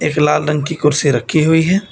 क लाल रंग की कुर्सी रखी हुई है।